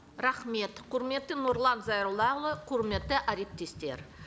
рахмет құрметті нұрлан зайроллаұлы құрметті әріптестер